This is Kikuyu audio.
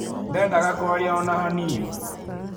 Ndendaga kwaria o na hanini.